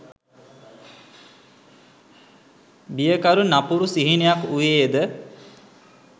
බියකරු නපුරු සිහිනයක් වුයේ ද?